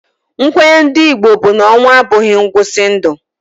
Nkwenye ndị Igbo bụ na ọnwụ a bụghị ngwụsị ndụ.